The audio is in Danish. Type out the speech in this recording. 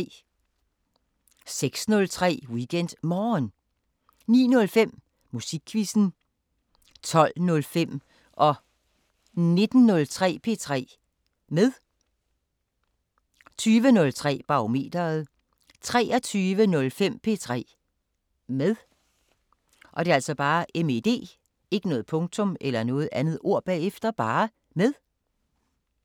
06:03: WeekendMorgen 09:05: Musikquizzen 12:05: P3 med 19:03: P3 med 20:03: Barometeret 23:05: P3 med